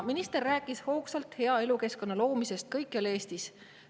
Minister rääkis hoogsalt hea elukeskkonna loomisest kõikjal Eestis.